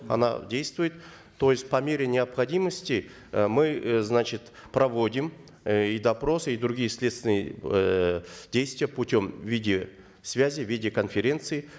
она действует то есть по мере необходимости э мы э значит проводим э и допросы и другие следственные эээ действия путем видеосвязи видеоконференции